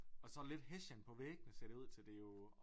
Og så lidt hessian på væggene ser det ud til det jo